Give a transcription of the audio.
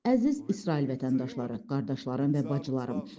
Əziz İsrail vətəndaşları, qardaşlarım və bacılarım.